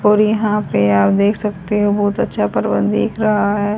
और यहां पे आप देख सकते हो बहुत अच्छा प्रबंध दिख रहा है।